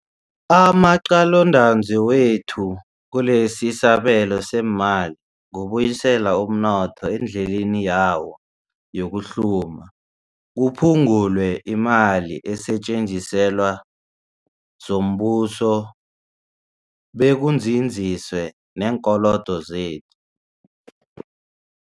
Amaqalontanzi wethu kilesisabelo seemali kubuyisela umnotho endleleni yawo yokuhluma, kuphungulwe imali esetjenziselwa zombuso bekunzinziswe neenkolodo zethu.